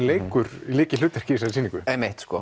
leikur lykilhlutverk í þessari sýningu einmitt